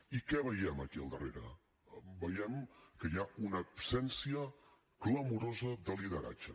i què veiem aquí al darrere veiem que hi ha una absència clamorosa de lideratge